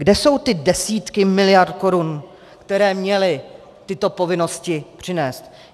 Kde jsou ty desítky miliard korun, které měly tyto povinnosti přinést?